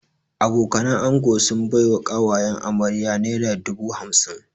Abokanan ango sun bai wa ƙawayen amarya naira dubu hamsin